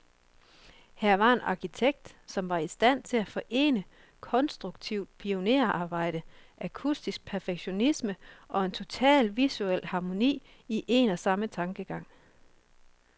Her var en arkitekt, som var i stand til at forene konstruktivt pionerarbejde, akustisk perfektion, og en total visuel harmoni, i en og samme tankegang.